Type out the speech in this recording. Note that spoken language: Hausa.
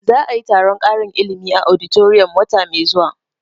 Za a yi taron ƙarin ilimi a auditorium wata mai zuwa